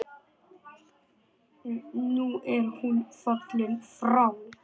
Nú er hún fallin frá.